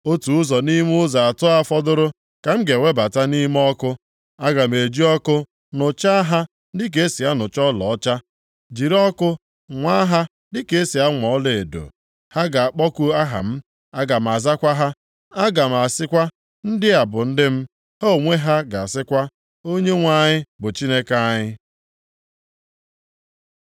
Otu ụzọ nʼime ụzọ atọ a fọdụrụ ka m ga-ewebata nʼime ọkụ. Aga m eji ọkụ nụchaa ha dịka e si anụcha ọlaọcha, jiri ọkụ nwaa ha dịka e si anwa ọlaedo. Ha ga-akpọku aha m, aga m azakwa ha. Aga m asịkwa, ‘Ndị a bụ ndị m,’ Ha onwe ha ga-asịkwa, ‘ Onyenwe anyị bụ Chineke anyị.’ ”